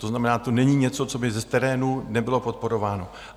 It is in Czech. To znamená, to není něco, co by z terénu nebylo podporováno.